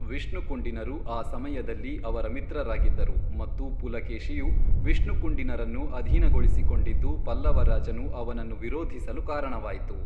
ವಿಷ್ಣುಕುಂಡಿನರು ಆ ಸಮಯದಲ್ಲಿ ಅವರ ಮಿತ್ರರಾಗಿದ್ದರು ಮತ್ತು ಪುಲಕೇಶಿಯು ವಿಷ್ಣುಕುಂಡಿನರನ್ನು ಅಧೀನಗೊಳಿಸಿಕೊಂಡಿದ್ದು ಪಲ್ಲವ ರಾಜನು ಅವನನ್ನು ವಿರೋಧಿಸಲು ಕಾರಣವಾಯಿತು.